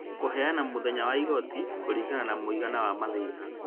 kũheana mũthenya wa igooti kũringana na mũigana wa mathĩna